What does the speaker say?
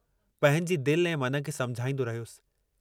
पंहिंजी दिल ऐं मन खे समुझाईंदो रहियुसि।